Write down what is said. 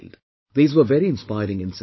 These were very inspiring incidents